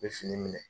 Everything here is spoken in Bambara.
N bɛ fini minɛ